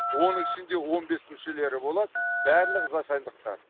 оның ішінде он бес мүшелері болады барлығы зайсандықтар